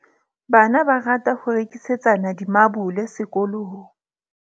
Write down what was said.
Bana ba rata ho rekisetsana dimabole sekolong.